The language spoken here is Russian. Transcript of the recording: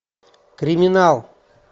криминал